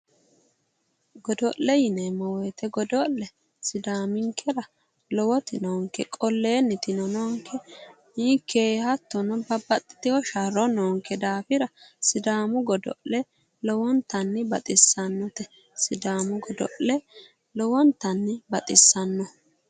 godo'le yineemmowoyite godo'le sidaaminkera lowoti noonke qalennitino noonke hattono babbaxxitino sharro noonke daafira sidaamu godo'le lowontanni baxissannote